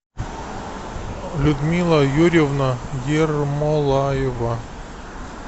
людмила юрьевна ермолаева